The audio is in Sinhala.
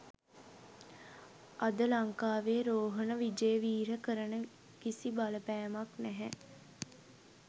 අද ලංකාවේ රෝහණ විජේවීර කරන කිසි බලපෑමක් නැහැ